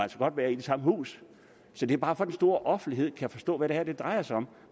være i det samme hus så det er bare for at den store offentlighed kan forstå hvad det her drejer sig om